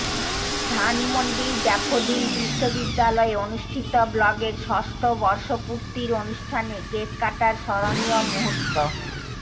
ধানমন্ডির ড্যাফোডিল বিশ্ববিদ্যালয়ে অনুষ্ঠিত ব্লগের ষষ্ঠ বর্ষপূর্তির অনুষ্ঠানে কেক কাটার স্মরণীয় মুহূর্ত